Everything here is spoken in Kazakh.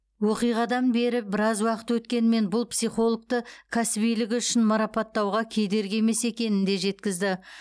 оқиғадан бері біраз уақыт өткенімен бұл психологты кәсібилігі үшін марапаттауға кедергі емес екенін де жеткізді